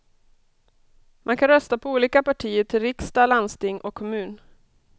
Man kan rösta på olika partier till riksdag, landsting och kommun.